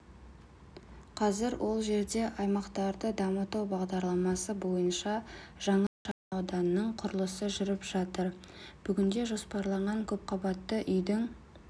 қазір ол жерде аймақтарды дамыту бағдарламасы бойынша жаңа шағынауданның құрылысы жүріп жатыр бүгінде жоспарланған көпқабатты үйдің